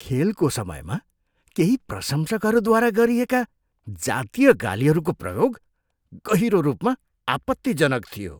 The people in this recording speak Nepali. खेलको समयमा केही प्रशंसकहरूद्वारा गरिएका जातीय गालीहरूको प्रयोग गहिरो रूपमा आपत्तिजनक थियो।